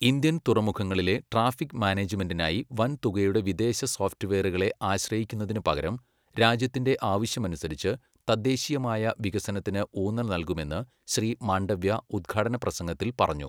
Indian തുറമുഖങ്ങളിലെ traffic മാനേജ്മെൻിനായി വൻതുകയുടെ വിദേശ സോഫ്റ്റുവെയറുകളെ ആശ്രയിക്കുന്നതിനുപകരം രാജ്യത്തിന്റെ ആവശ്യമനുസരിച്ച് തദ്ദേശീയമായ വികസനത്തിന് ഊന്നൽ നൽകുമെന്ന് ശ്രീ മാണ്ഡവ്യ ഉദ്ഘാടന പ്രസംഗത്തിൽ പറഞ്ഞു.